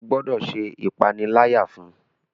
O gbọdọ ṣe ìpaniláyà fún!